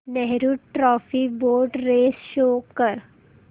Nehru trophy boat race show कर